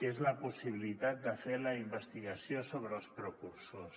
que és la possibilitat de fer la investigació sobre els precursors